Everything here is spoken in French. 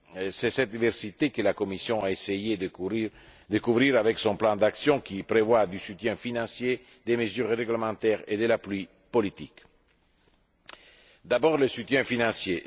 C'est cette diversité que la Commission a essayé de couvrir avec son plan d'action, qui prévoit un soutien financier, des mesures réglementaires et un appui politique. D'abord, le soutien financier.